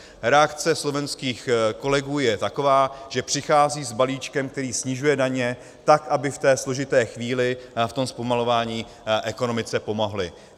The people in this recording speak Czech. Reakce slovenských kolegů je taková, že přichází s balíčkem, který snižuje daně tak, aby v té složité chvíli, v tom zpomalování, ekonomice pomohli.